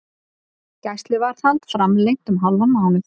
Gæsluvarðhald framlengt um hálfan mánuð